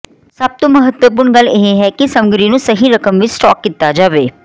ਸਭ ਤੋਂ ਮਹੱਤਵਪੂਰਣ ਗੱਲ ਇਹ ਹੈ ਕਿ ਸਮੱਗਰੀ ਨੂੰ ਸਹੀ ਰਕਮ ਵਿੱਚ ਸਟਾਕ ਕੀਤਾ ਜਾਵੇ